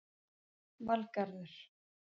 Valgarður